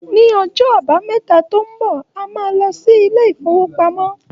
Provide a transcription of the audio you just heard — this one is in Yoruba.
Ní ọjọ́ àbámẹ́ta tó ń bọ̀, a máa lọ sí ilé-ìfowópamọ́.